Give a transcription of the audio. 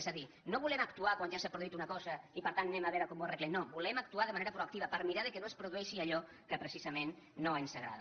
és a dir no volem actuar quan ja s’ha produït una cosa i per tant anem a veure com ho arreglem no volem actuar de manera proactiva per mirar que no es pro dueixi allò que precisament no ens agrada